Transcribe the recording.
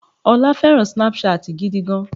ọ́lá fẹràn Snapchat gidi gan.